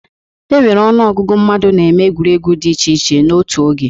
E nwere ọnụ ọgụgụ mmadụ na-eme egwuregwu dị iche iche n'ótú oge.